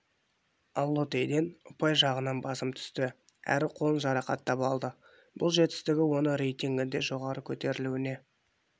аллотейден ұпай жағынан басым түсті әрі қолын жарақаттап алды бұл жетістігі оны рейтингінде жоғары көтерілуіне